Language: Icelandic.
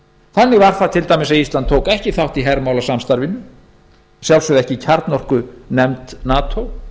þannig var það til dæmis að ísland tók ekki þátt í hermálasamstarfinu að sjálfsögðu ekki í kjarnorkunefnd nato